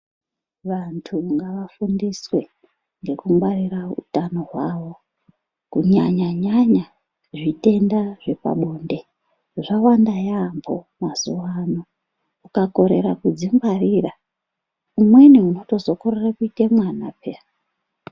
Vanthu ngavafundiswe nekungwarira utano hwavo kunyanya nyanya zvitenda zvepabonde zvawanda yaambo mazuwaanaya ukakorera kuzvingwarira umweni unotozokorera kuite mwana peyaa.